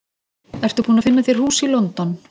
Ertu búinn að finna þér hús í London?